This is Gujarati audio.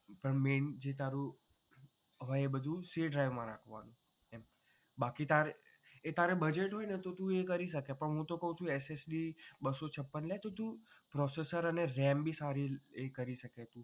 પણ main જે તારું હોય તે બધુ c drive માં રાખવાનું બાકી તારે એ budget હોય તો તું એ કરી શકે પણ હું તો કહું છું SSD બસ્સો છપ્પન લે processor અને RAM ભી સારી કરી શકે.